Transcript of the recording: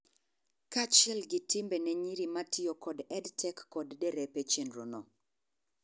Kachiel gi timbe ne nyiri matiyo kod EdTech kod derepe chenro no